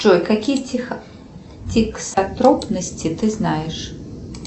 джой какие тексотропности ты знаешь